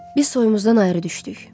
Biz soyumuzdan ayrı düşdük.